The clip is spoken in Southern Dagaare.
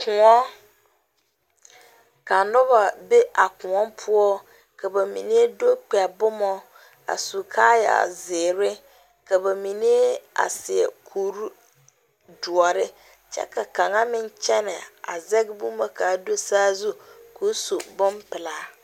koɔ ka noba be a koɔ poɔ, ka ba mine do kpɛ boma a su kaayaa zeɛre ka ba mine a seɛ kur doɔre kyɛ ka kaŋa meŋ kyɛne a zage boma ka do saazu kɔɔ su bonpɛlaa